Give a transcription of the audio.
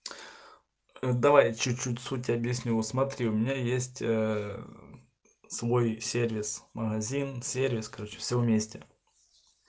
ээ давай чуть-чуть суть объясню смотри у меня есть ээ свой сервис магазин-сервис короче все вместе